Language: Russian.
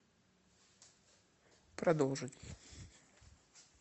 продолжить